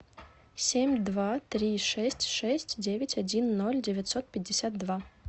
семь два три шесть шесть девять один ноль девятьсот пятьдесят два